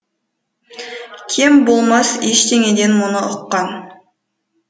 кем болмас ештеңеден мұны ұққан